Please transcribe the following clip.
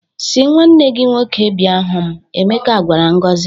"Sị nnwanne gị nwoke bịa hụ m! " Emeka gwara Ngozi.